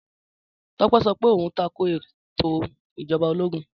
Tọ́pẹ́ sọ pé òhun tako ètò Ìjọba ológun.